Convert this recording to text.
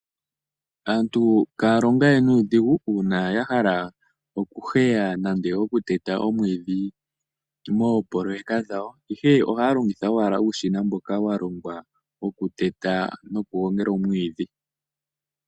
Aantu kaya longa we nuudhigu uuna ya hala okuheya nenge okuteta omwiidhi moopololeka dhawo. Ihe ohaya longitha owala uushina mboka wa longwa wokuteta nokuheya oomwiidhi.